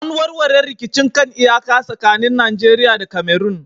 An warware rikicin kan iyaka tsakanin Najeriya da Cameron